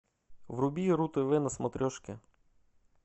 вруби ру тв на смотрешке